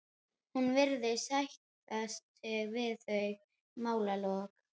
Hún virðist sætta sig við þau málalok.